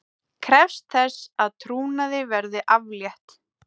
Krefst þess að trúnaði verði aflétt